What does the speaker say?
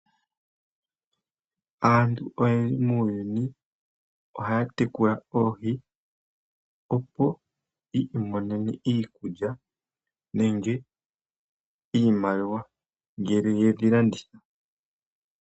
Aantu oyendji muuyuni ohaya tekula oohi, opo yiimonene iikulya nenge iimaliwa, ngele yedhi landitha.